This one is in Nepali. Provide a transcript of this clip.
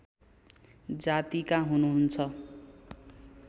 जातिका हुनुहुन्छ